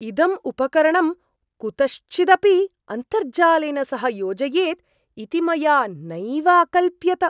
इदम् उपकरणं कुतश्चिदपि अन्तर्जालेन सह योजयेत् इति मया नैव अकल्प्यत।